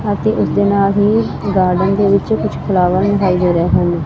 ਅਤੇ ਉਸਦੇ ਨਾਲ ਹੀ ਗਾਰਡਨ ਦੇ ਵਿੱਚ ਕੁਝ ਫਲਾਵਰ ਦਿਖਾਈ ਦੇ ਰਹੇ ਹਨ।